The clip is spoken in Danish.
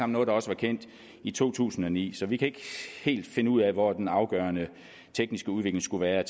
noget der også var kendt i to tusind og ni så vi kan ikke helt finde ud af hvor den afgørende tekniske udvikling skulle være